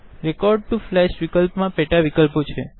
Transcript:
record to flash વિકલ્પ મા પેટા વિકલ્પો છે